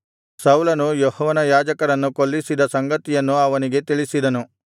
ಸೌಲನು ಯೆಹೋವನ ಯಾಜಕರನ್ನು ಕೊಲ್ಲಿಸಿದ ಸಂಗತಿಯನ್ನು ಅವನಿಗೆ ತಿಳಿಸಿದನು